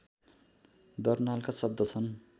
दर्नालका शब्द छन्